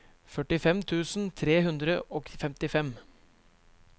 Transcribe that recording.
førtifem tusen tre hundre og femtifem